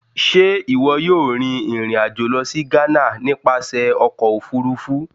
Ṣe iwọ yóò rin ìrìn-àjò lọ si Ghana nipasẹ Ọkọ ofurufu?